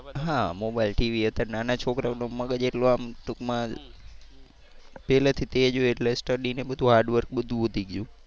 હા mobile TV અત્યારે નાના છોકરાઓનું મગજ એટલું આમ ટુંકમાં પેહલા થી તેજ હોય એટલે studyને બધુ hardwork બધુ વધી ગયું.